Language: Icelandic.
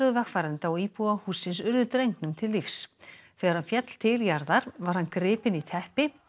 vegfarenda og íbúa hússins urðu drengnum til lífs þegar hann féll til jarðar var hann gripinn í teppi